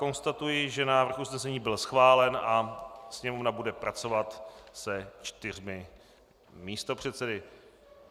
Konstatuji, že návrh usnesení byl schválen a Sněmovna bude pracovat se čtyřmi místopředsedy.